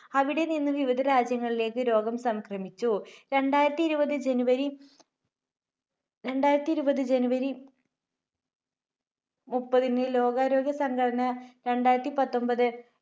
അവിടെനിന്ന് വിവിധ രാജ്യങ്ങളിലേക്ക് രോഗം സംക്രമിച്ചു. രണ്ടായിരത്തിഇരുപത് January, രണ്ടായിരത്തിഇരുപത് January മുപ്പതിന് ലോകാരോഗ്യ സംഘടന രണ്ടായിരത്തിപത്തൊൻപത്